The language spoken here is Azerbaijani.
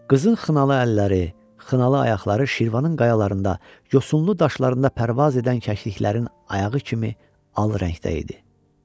Qızın xınalı əlləri, xınalı ayaqları Şirvanın qayalarında, yosunlu daşlarında pərvaz edən kəkliklərin ayağı kimi al rəngdə idi.